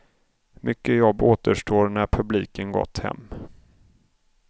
Mycket jobb återstår när publiken gått hem.